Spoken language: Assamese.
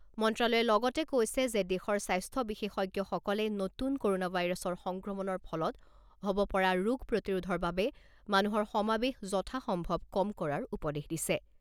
মন্ত্ৰালয়ে লগতে কৈছে যে দেশৰ স্বাস্থ্য বিশেষজ্ঞসকলে নতুন ক'ৰনা ভাইৰাছৰ সংক্ৰমণৰ ফলত হ’ব পৰা ৰোগ প্ৰতিৰোধৰ বাবে মানুহৰ সমাবেশ যথাসম্ভৱ কম কৰাৰ উপদেশ দিছে।